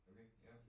Okay, ja